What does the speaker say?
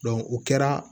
o kɛra